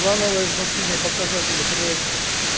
плановое значение показателя проекта